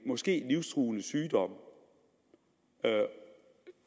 måske livstruende sygdom